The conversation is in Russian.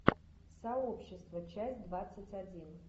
сообщество часть двадцать один